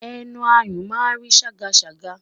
Ẹnu ayùn máa ń rí ságasàga